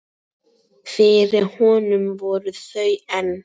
Fyrir honum voru þau enn